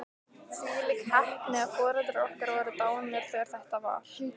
Þvílík heppni að foreldrar okkar voru dánir þegar þetta var.